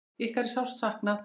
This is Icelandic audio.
Ykkar er sárt saknað.